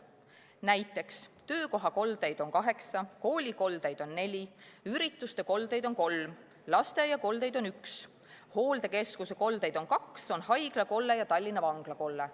Näiteks, töökohakoldeid on 8, koolikoldeid 4, ürituste koldeid 3, lasteaiakoldeid 1, hooldekeskuse koldeid 2, on haiglakolle ja Tallinna Vangla kolle.